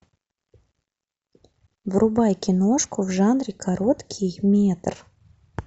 врубай киношку в жанре короткий метр